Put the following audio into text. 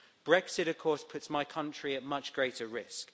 Brexit, of course, puts my country at much greater risk.